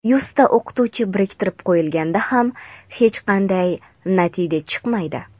yuzta o‘qituvchi biriktirib qo‘yilganda ham hech qanday natija chiqmaydi.